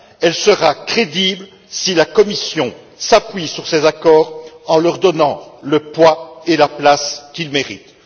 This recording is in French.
Elle sera crédible si la Commission s'appuie sur ces accords en leur donnant le poids et la place qu'ils méritent.